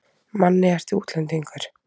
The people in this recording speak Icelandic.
Manni, ertu útlendingur?